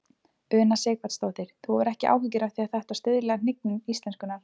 Una Sighvatsdóttir: Þú hefur ekki áhyggjur af því að þetta stuðli að hnignun íslenskunnar?